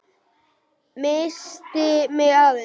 Missti mig aðeins.